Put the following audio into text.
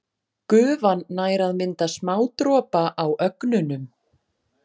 Gufan nær að mynda smádropa á ögnunum.